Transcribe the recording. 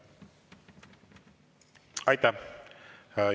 Aitäh!